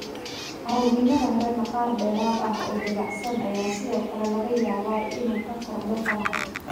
Caruurnimada hore, maqaar dheeraad ah oo dabacsan ayaa sidoo kale laga yaabaa inuu ka kordho faraha.